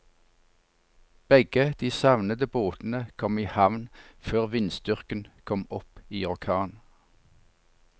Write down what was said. Begge de savnede båtene kom i havn før vindstyrken kom opp i orkan.